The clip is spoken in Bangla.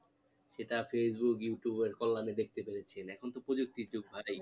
সেটা facebook youtube এর কল্যানে দেখতে পেয়েছেন, এখন তো প্রযুক্তির যুগ ভাই